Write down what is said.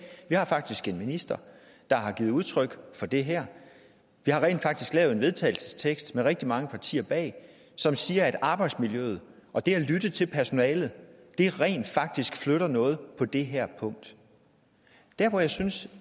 vi har faktisk en minister der har givet udtryk for det her vi har rent faktisk lavet en vedtagelsestekst med rigtig mange partier bag som siger at arbejdsmiljøet og det at lytte til personalet rent faktisk flytter noget på det her punkt der hvor jeg synes